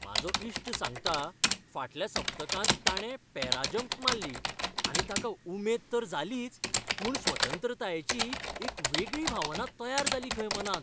म्हाजो इश्ट सांगता, फाटल्या सप्तकांत ताणे पॅराजंप माल्ली आनी ताका उमेद तर जालीच, पूण स्वतंत्रतायेचीय एक वेगळी भावना तयार जाली खंय मनांत.